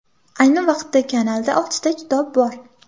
Ayni vaqtda kanalda oltita kitob bor.